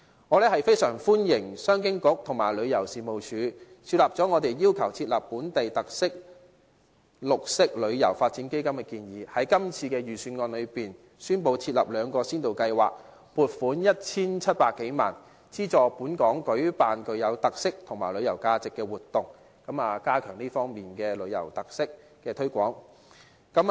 我非常歡迎商務及經濟發展局和旅遊事務署考慮了我們要求設立"本地特色旅遊發展基金"的建議，在今次的預算案中，宣布設立兩項先導計劃，撥款 1,700 多萬元，資助本港舉辦具有特色及旅遊價值的活動，加強這方面的旅遊特色的推廣。